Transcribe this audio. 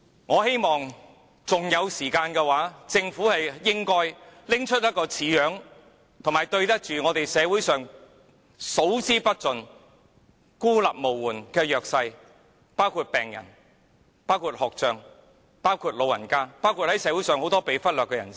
我希望政府還有時間，可以拿出一份像樣的預算案來，這樣還可對得起社會上數之不盡孤立無援的弱勢人士，包括病人、有學習障礙的學童、長者和社會上眾多被忽略的人，